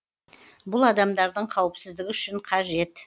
бұл адамдардың қауіпсіздігі үшін қажет